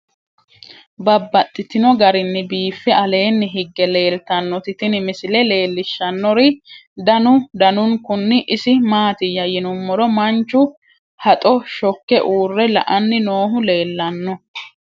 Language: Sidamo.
Babaxxittinno garinni biiffe aleenni hige leelittannotti tinni misile lelishshanori danu danunkunni isi maattiya yinummoro manchu haxxo shokke uure la'anni noohu leelanno